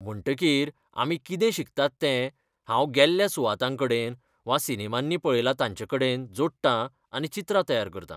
म्हणटकीर आमी कितें शिकतात तें, हांव गेल्ल्या सुवातांकडेन वा सिनेमांनी पळयलां तांचेकडेन जोडटां आनी चित्रां तयार करतां.